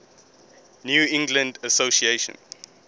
new england association